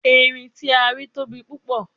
Erin ti a ri tobi pupo